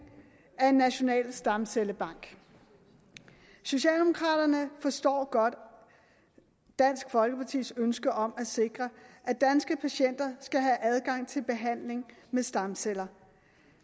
af en national stamcellebank socialdemokraterne forstår godt dansk folkepartis ønske om at sikre at danske patienter skal have adgang til behandling med stamceller